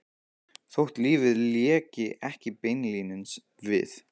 Þótt lífið léki ekki beinlínis við